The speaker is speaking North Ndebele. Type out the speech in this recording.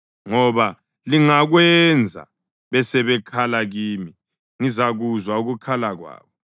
ngoba lingakwenza, besebekhala kimi ngizakuzwa ukukhala kwabo;